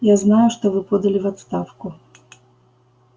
я знаю что вы подали в отставку